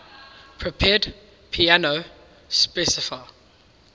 prepared piano specify